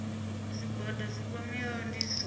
zwigwada zwi kwameaho ndi zwone